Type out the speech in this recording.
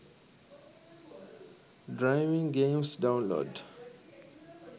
driving games download